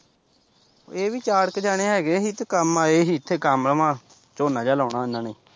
ਇਹ ਵੀ ਚਾਰ ਕ ਜਣੇ ਹੈਗੇ ਸੀ ਤੇ ਕੰਮ ਆਏ ਹੀ ਫਿਰ ਕੰਮ ਝੋਨਾ ਜਿਹਾ ਲਾਉਣਾ ਇੰਨਾਂ ਨੇ।